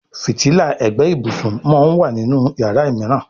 Fìtílà ègbé ibùsùn món wá nínú iyàrá míràn.